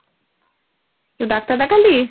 তো ডাক্তার দেখালি?